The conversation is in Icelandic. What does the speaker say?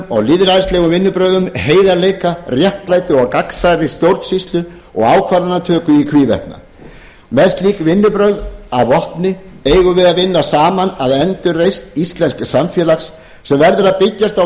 og lýðræðislegum vinnubrögðum heiðarleika réttlæti og gagnsærri stjórnsýslu og ákvarðanatöku í hvívetna með slík vinnubrögð að vopni eigum við að vinna saman að endurreisn íslensks samfélags sem verður að byggjast á